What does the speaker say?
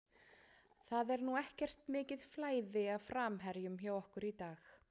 Það er nú ekkert mikið flæði af framherjum hjá okkur í dag.